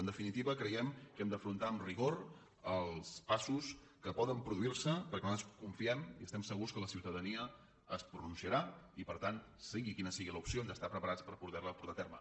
en definitiva creiem que hem d’afrontar amb rigor els passos que poden produir se perquè nosaltres confiem i estem segurs que la ciutadania es pronunciarà i per tant sigui quina sigui l’opció hem d’estar preparats per poder la portar a terme